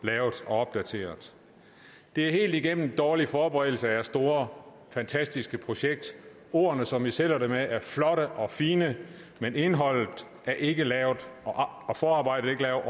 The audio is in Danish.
lavet og opdateret det er helt igennem dårlig forberedelse af jeres store fantastiske projekt ordene som i sælger det med er flotte og fine men indholdet er ikke lavet og forarbejdet er